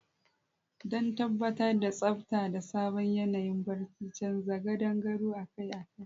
Don tabbatar da tsabta da sabon yanayin barci, canza gadon gado akai-akai.